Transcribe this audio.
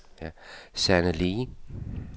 Sanne Le